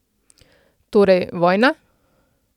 Torej, vojna?